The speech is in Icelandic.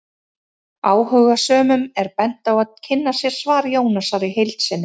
Áhugasömum er bent á að kynna sér svar Jónasar í heild sinni.